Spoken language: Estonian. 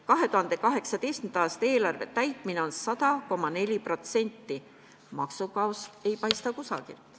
2018. aasta eelarve täideti 100,4%, maksukaost ei paista kusagilt.